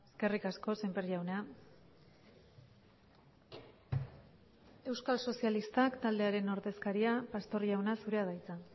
eskerrik asko sémper jauna euskal sozialistak taldearen ordezkaria pastor jauna zurea da hitza